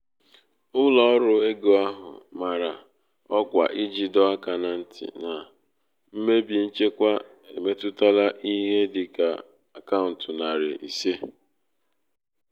ụlọ ọrụ ego ahụ mara ọkwa iji doo aka na nti na mmebi nchekwa emetụtala ihe dị ka akaụntụ nari ise.